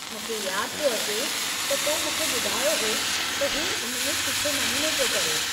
मूंखे यादि पियो अचे त तो मूंखे ॿुधायो हो त हू उन में सुठे नमूने पियो करे।